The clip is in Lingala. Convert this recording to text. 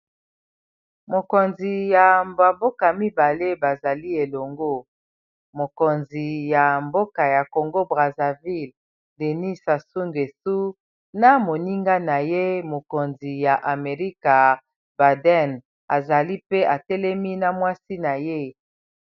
Bakonzi ya ba mboka mibale bazali elongo mokonzi ya mboka ya congo brazzaville denis sasu ngweso na moninga na ye mokonzi ya amerika baden azali pe atelemi na mwasi na ye.